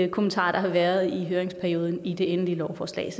kommentarer der har været i høringsperioden i det endelige lovforslag